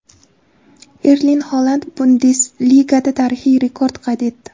Erling Holand Bundesligada tarixiy rekord qayd etdi.